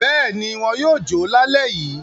Bẹ́ẹ̀ ni, wọn yóò jó lálẹ́ yìí.